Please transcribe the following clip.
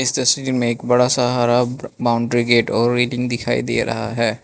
तस्वीर में एक बड़ा सा हरा बाउंड्री गेट और रेलिंग दिखाई दे रहा है।